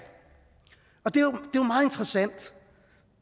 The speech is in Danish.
og det er jo